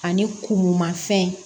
Ani kuru mafɛn